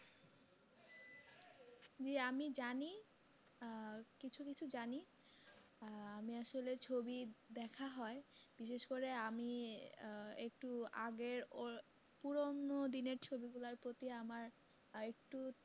জি আমি জানি আহ কিছু কিছু জানি আহ আমি আসলে ছবি দেখা হয় বিশেষ করে আমি আহ একটু আগের ওই পুরোনো দিনের ছবি গুলোর প্রতি আমার একটু